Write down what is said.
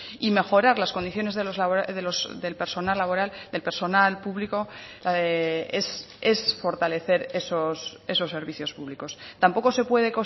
y mejorar las condiciones del personal laboral del personal público es fortalecer esos servicios públicos tampoco se puede